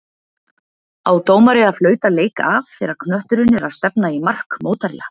Á dómari að flauta leik af þegar knötturinn er að stefna í mark mótherja?